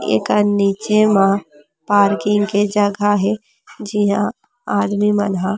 एकर नीचे म पार्किंग के जहग हे जेहा आदमी मन ह--